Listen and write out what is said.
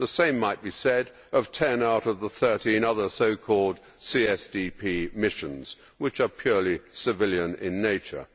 The same might be said of 10 out of the 13 other so called CSDP missions which are purely civilian in nature.